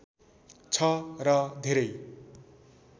छ र धेरै